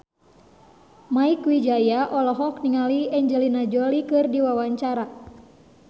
Mieke Wijaya olohok ningali Angelina Jolie keur diwawancara